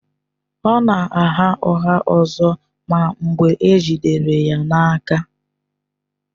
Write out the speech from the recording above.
Ọ na-agha ụgha ọzọ ma mgbe e jidere ya na-aka.